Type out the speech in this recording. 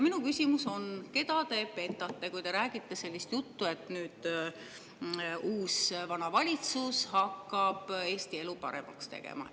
Minu küsimus on: keda te petate, kui te räägite sellist juttu, et uus-vana valitsus hakkab Eesti elu paremaks tegema?